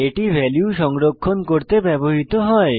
এটি ভ্যালু সংরক্ষণ করতে ব্যবহৃত হয়